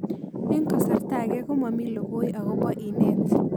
Eng' kasarta ag'e ko mami lokoi akopo inet